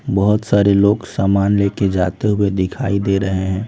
बहुत सारे लोग सामान लेकर जाते हुए दिखाई दे रहे हैं।